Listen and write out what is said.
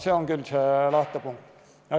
See on küll see lähtepunkt.